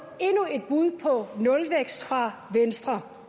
endnu et bud på nulvækst fra venstre